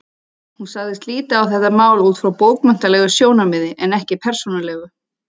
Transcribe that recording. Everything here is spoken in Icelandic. Hún sagðist líta á þetta mál út frá bókmenntalegu sjónarmiði en ekki persónulegu.